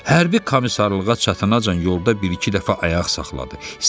Hərbi komisarlığa çatana can yolda bir-iki dəfə ayaq saxladı.